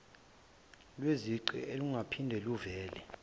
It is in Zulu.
lwezicwe olungaphinde luvele